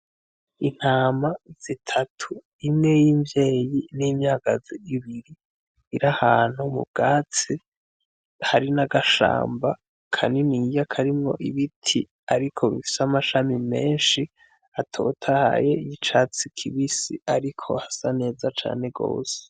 Intama zitatu imwe y’invyeyi n’imyagazi ibiri . Iri ahantu mu bwatsi hari n’agashamba kaniniya karimwo ibiti ariko bifise amashami menshi atotahaye y’icatsi kibisi ariko hasa neza cane gose .